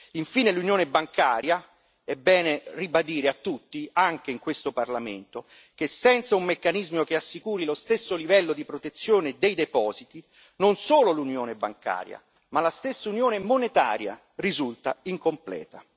Infine, è bene ribadire a tutti, anche in questo Parlamento, che senza un meccanismo che assicuri lo stesso livello di protezione dei depositi, non solo l'Unione bancaria ma anche la stessa Unione monetaria risulta incompleta.